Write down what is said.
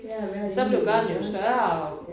Ja og være hjemme ved dem